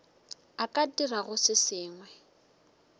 a ka dirago se sengwe